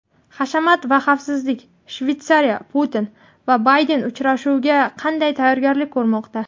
Hashamat va xavfsizlik: Shveysariya Putin va Bayden uchrashuviga qanday tayyorgarlik ko‘rmoqda?.